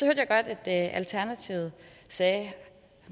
jeg godt at alternativet sagde